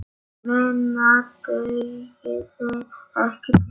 Minna dugði ekki til.